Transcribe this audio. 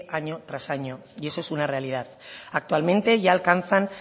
año tras año y eso una realidad actualmente ya alcanzan